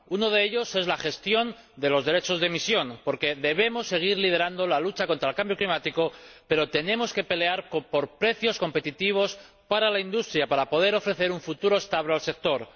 Uno de ellos es la gestión de los derechos de emisión, porque debemos seguir liderando la lucha contra el cambio climático, pero tenemos que pelear por precios competitivos para la industria para poder ofrecer un futuro estable al sector.